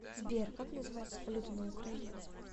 сбер как называется валюта на украине